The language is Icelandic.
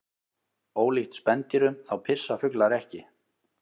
Ólíkt spendýrum þá pissa fuglar ekki.